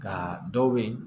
Ka dɔw be yen